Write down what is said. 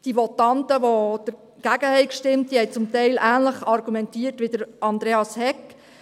Die Votanten, die dagegen gestimmt haben, haben teilweise ähnlich argumentiert wie Andreas Hegg.